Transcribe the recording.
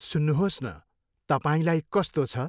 सुन्नुहोस् न, तपाईँलाई कस्तो छ।